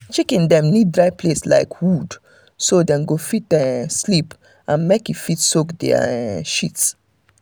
chicken dem need dry place like wood so dem go fit um sleep and make e fit um soak their um shit